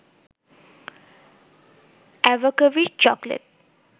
অ্যাবাকাভির tablet